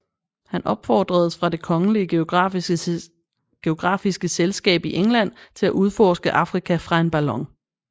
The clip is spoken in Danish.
Han opfordres af Det kongelige geografiske Selskab i England til at udforske Afrika fra en ballon